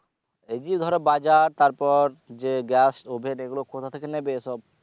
এই যে ধরো বাজার তারপর যে gas oven এগুলো কোথা থেকে নেবে সব?